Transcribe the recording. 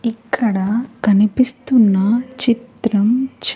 ఇక్కడ కనిపిస్తున్న చిత్రం చ--